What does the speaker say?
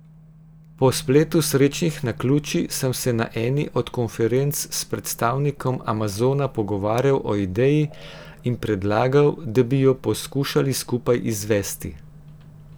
Po spletu srečnih naključij sem se na eni od konferenc s predstavnikom Amazona pogovarjal o ideji in predlagal, da bi jo poskušali skupaj izvesti.